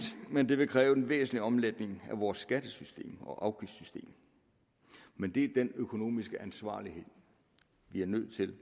men det vil kræve en væsentlig omlægning af vores skattesystem og afgiftssystem men det er den økonomiske ansvarlighed vi er nødt til